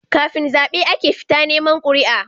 Kafin zabe ake fita neman quri'a